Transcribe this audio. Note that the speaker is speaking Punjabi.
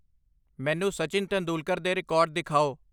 ਮੈਨੂੰ ਸਚਿਨ ਤੇਂਦੁਲਕਰ ਦੇ ਰਿਕਾਰਡ ਦਿਖਾਓ